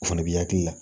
O fana bi hakili la